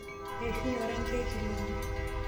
Eishunye orangi lkilome.